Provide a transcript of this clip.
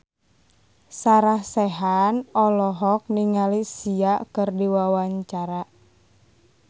Sarah Sechan olohok ningali Sia keur diwawancara